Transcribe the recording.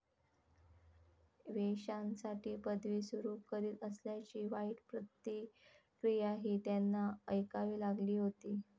वेश्यांसाठी पदवी सुरु करीत असल्याची वाईट प्रतिक्रियाही त्यांना ऐकावी लागली होती.